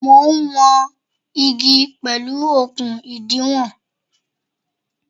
Mo ń wọn igi pẹ̀lú okun ìdiwọ̀n.